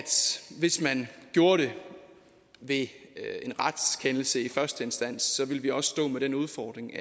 hvis man gjorde det ved en retskendelse i første instans ville vi også stå med den udfordring